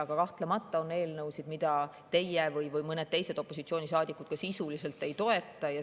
Aga kahtlemata on eelnõusid, mida teie või mõned teised opositsioonisaadikud ka sisuliselt ei toeta.